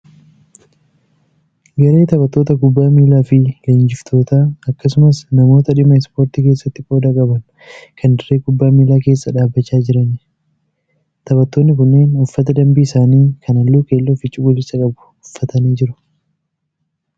Garee taphattoota kubbaa miilaa fi leenjiftoota akkasumas namoota dhimma Ispoortii keessatti qooda qaban kan dirree kubbaa miilaa keessa dhaabbachaa jiran. Taphattoonni kunneen uffata dambii isaanii kan halluu keelloo fi cuquliisa qabu uffatanii jiru.